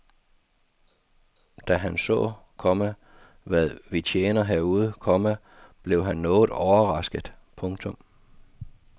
Da han så, komma hvad vi tjener herude, komma blev han noget overrasket. punktum